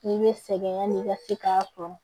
I bɛ sɛgɛn yanni i ka se k'a tɔ